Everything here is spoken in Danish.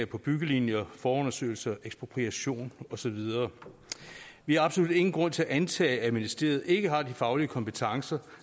på byggelinjer forundersøgelser ekspropriation og så videre vi har absolut ingen grund til at antage at ministeriet ikke har de faglige kompetencer